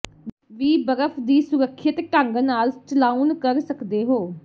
ਵੀ ਬਰਫ ਦੀ ਸੁਰੱਖਿਅਤ ਢੰਗ ਨਾਲ ਚਲਾਉਣ ਕਰ ਸਕਦੇ ਹੋ